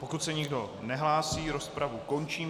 Pokud se nikdo nehlásí, rozpravu končím.